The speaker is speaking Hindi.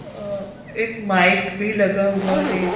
एक माइक भी लगा हुआ है।